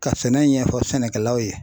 Ka sɛnɛ ɲɛfɔ sɛnɛkɛlaw ye